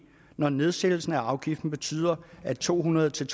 når nedsættelsen af afgiften betyder at to hundrede til